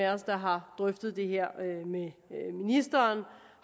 af os der har drøftet det her med ministeren